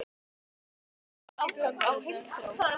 Hann kallaði þetta afgang af heimþrá.